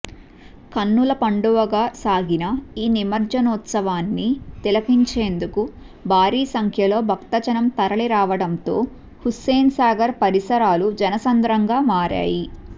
కన్నుల పండువగా సాగిన ఈ నిమజ్జనోత్సవాన్ని తిలకించేందుకు భారీ సంఖ్యలో భక్తజనం తరలిరావడంతో హుస్సేన్సాగర్ పరిసరాలు జనసంద్రంగా మారాయి